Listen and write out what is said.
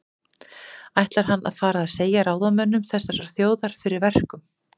Ætlar hann að fara að segja ráðamönnum þessarar þjóðar fyrir verkum?